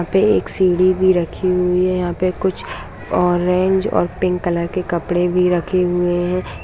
यहाँ पे एक सीढ़ी भी रखी हुई है यहाँ पे कुछ ऑरेंज और पिंक कलर के कपड़े भी रखे हुए हैं।